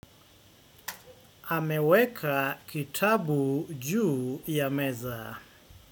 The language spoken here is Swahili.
Ameweka kitabu juu ya meza.